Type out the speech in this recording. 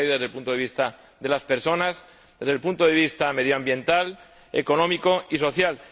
una tragedia desde el punto de vista de las personas, desde el punto de vista medioambiental, económico y social.